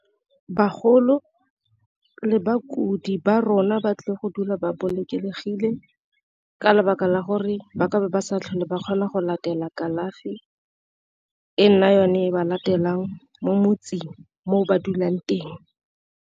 Bagolo le ba kudi ba rona ba tlile go dula ba bolokegile ka lebaka la gore ba ka be ba sa tlhole ba kgona go latela kalafi, e nna yone e ba latelang mo motseng mo ba dulang teng.